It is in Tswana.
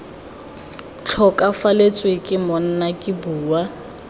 tlhokafalatswe ke monna ke bua